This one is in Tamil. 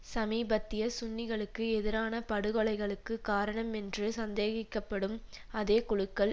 சமீபத்திய சுன்னிகளுக்கு எதிரான படுகொலைகளுக்கு காரணம் என்று சந்தேகிக்க படும் அதே குழுக்கள்